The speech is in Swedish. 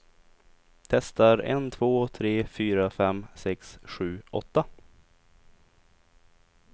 Testar en två tre fyra fem sex sju åtta.